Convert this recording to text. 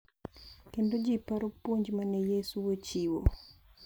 Kendo ji paro puonj ma ne Yesu ochiwo.